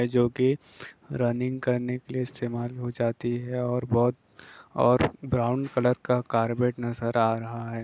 जो की रनिंग करने के लिए इस्तेमाल हो जाती है और बहोत और ब्राउन कलर का कार्बेट नजर आ रहा है।